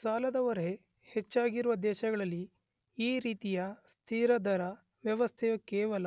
ಸಾಲದ ಹೊರೆ ಹೆಚ್ಚಾಗಿರುವ ದೇಶಗಳಲ್ಲಿ ಈ ರೀತಿಯ ಸ್ಥಿರ ದರ ವ್ಯವಸ್ಥೆಯು ಕೇವಲ